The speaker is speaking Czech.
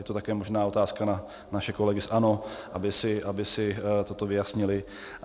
Je to také možná otázka na naše kolegy z ANO, aby si toto vyjasnili.